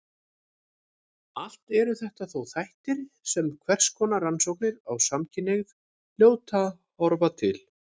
Allt eru þetta þó þættir sem hverskonar rannsóknir á samkynhneigð hljóta að horfa til.